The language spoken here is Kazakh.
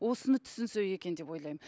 осыны түсінсек екен деп ойлаймын